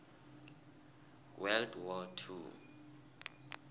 world war two